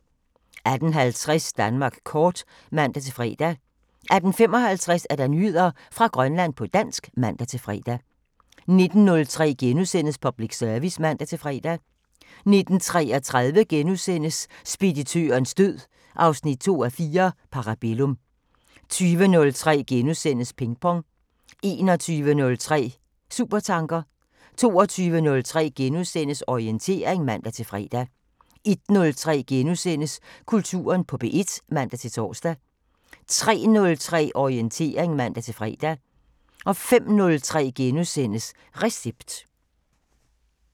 18:50: Danmark kort (man-fre) 18:55: Nyheder fra Grønland på dansk (man-fre) 19:03: Public Service *(man-fre) 19:33: Speditørens død 2:4 – Parabellum * 20:03: Pingpong * 21:03: Supertanker 22:03: Orientering *(man-fre) 01:03: Kulturen på P1 *(man-tor) 03:03: Orientering (man-fre) 05:03: Recept *